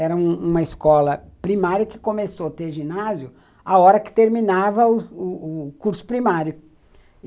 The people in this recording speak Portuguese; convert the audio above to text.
Era uma escola primária que começou a ter ginásio a hora que terminava o o curso primário.